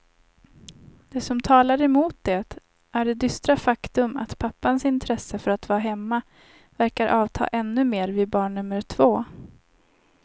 Det som talar emot det är det dystra faktum att pappans intresse för att vara hemma verkar avta ännu mer vid barn nummer två.